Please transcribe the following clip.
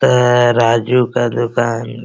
त अ राजू का दुकान --